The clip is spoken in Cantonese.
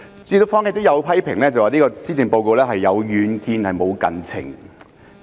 主席，坊間有批評指這份施政報告有遠見但無近情。